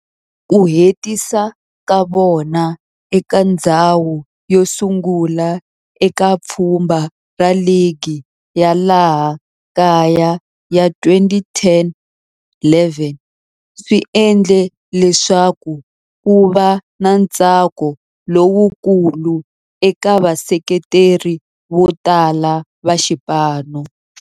Ku hetisa ka vona eka ndzhawu yosungula eka pfhumba ra ligi ya laha kaya ya 2010-11 swi endle leswaku kuva na ntsako lowukulu eka vaseketeri votala va xipano.